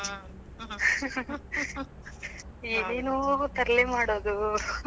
ಹ್ಮ್. ಏನೇನೋ ತರ್ಲೇ ಮಾಡೋದು .